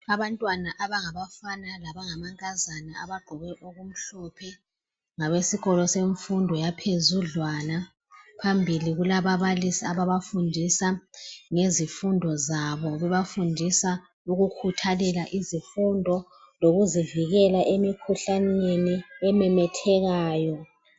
Abantwana abangafana labangamankazana abagqoke okumhlophe ngabesikolo semfundo yaphezudlwana , phambili kulababalisi abafundisa ngezifundo zabo bebafundisa ukukhuthalela izifundo lokuzivikela emkhuhlaneni ememethekayo